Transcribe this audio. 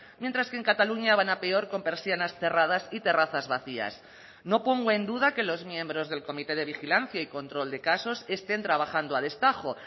mientras que en cataluña van a peor con persianas cerradas y terrazas vacías no pongo en duda que los miembros del comité de vigilancia y control de casos estén trabajando a destajo